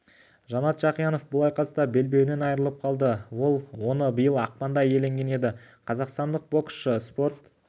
жанат жақиянов бұл айқаста белбеуінен айырылып қалды ол оны биыл ақпанда иеленген еді қазақстандық боксшы спорт